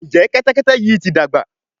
Njé Kẹ́tẹ́kẹ́tẹ́ yí ti dàgbà?